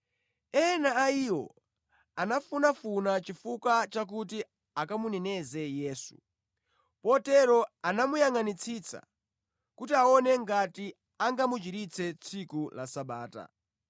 Ena a iwo anafunafuna chifukwa chakuti akamuneneze Yesu, potero anamuyangʼanitsitsa kuti aone ngati angamuchiritse tsiku la Sabata.